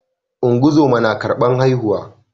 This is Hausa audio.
Ungozoma na karban haihuwa